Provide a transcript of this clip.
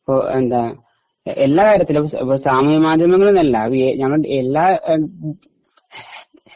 ഇപ്പൊ എന്താ എല്ലായിടത്തിലും സാമൂഹിക മാധ്യമങ്ങളിലെന്നല്ല എല്ലാ